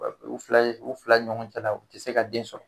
U fila ye u fila ɲɔgɔn cɛla u tɛ se ka den sɔrɔ.